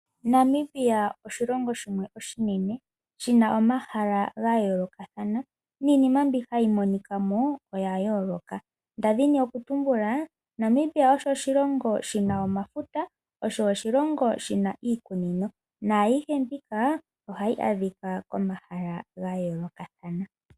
Namibia oshilongo shimwe oshinene shi na omahala ga yoolokathana niinima mbi hayi monika mo oya yooloka. Nda dhini okutumbula Namibia osho oshilongo shi na omafuta, osho oshilongo shi na iikunino naayihe mbika ohayi adhika komahala ga yoolokathana.